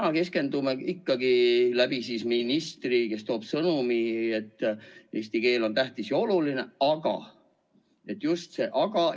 Me keskendume sellele ikkagi läbi ministri, kes toob sõnumi, et eesti keel on tähtis ja oluline, aga – just see aga!